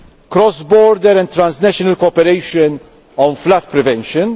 cross border and transnational cooperation on flood prevention